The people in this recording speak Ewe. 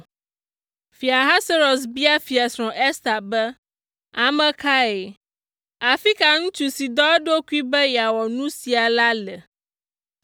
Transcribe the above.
Fia Ahasuerus bia Fiasrɔ̃ Ester be, “Ame kae? Afi ka ŋutsu si dɔ eɖokui be yeawɔ nu sia la le?”